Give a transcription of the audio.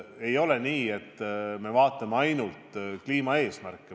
Ei ole nii, et me vaatame ainult kliimaeesmärke.